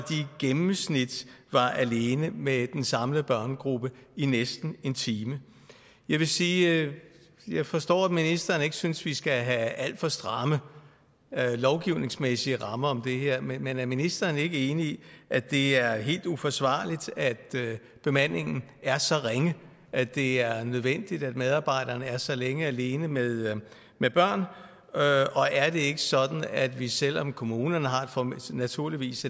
gennemsnit var alene med den samlede børnegruppe i næsten en time jeg vil sige at jeg forstår at ministeren ikke synes vi skal have alt for stramme lovgivningsmæssige rammer om det her men er ministeren ikke enig i at det er helt uforsvarligt at bemandingen er så ringe at det er nødvendigt at medarbejderne er så længe alene med børn og er det ikke sådan at vi selv om kommunerne naturligvis